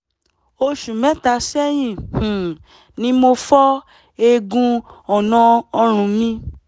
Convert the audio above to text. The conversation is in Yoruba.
oṣù mẹ́ta sẹ́yìn um ni mo fọ́ eegun ọ̀nà ọrùn mi